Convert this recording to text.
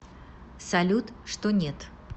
салют что нет